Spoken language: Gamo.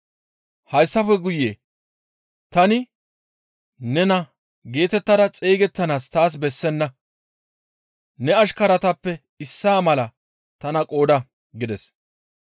Hayssafe guye, ‹Tani ne naa geetettada xeygettanaas taas bessenna; ne ashkaratappe issaa mala tana qooda› gides.